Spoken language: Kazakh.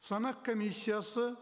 санақ комиссиясы